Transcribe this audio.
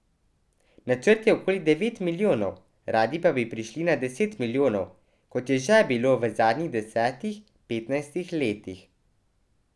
Načrt je okoli devet milijonov, radi pa bi prišli na deset milijonov, kot je že bilo v zadnjih desetih, petnajstih letih.